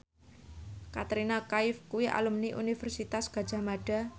Katrina Kaif kuwi alumni Universitas Gadjah Mada